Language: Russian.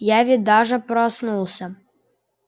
я ведь даже проснулся